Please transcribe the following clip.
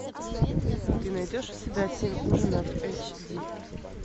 ты найдешь у себя семь ужинов эйч ди